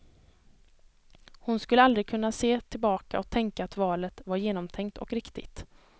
Hon skulle aldrig kunna se tillbaka och tänka att valet var genomtänkt och riktigt.